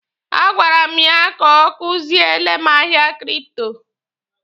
A gwara m ya ka ọ kuziele m ahịa kripto.